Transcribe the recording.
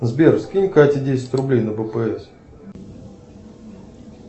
сбер скинь кате десять рублей на бпс